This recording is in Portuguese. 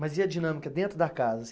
Mas e a dinâmica dentro da casa?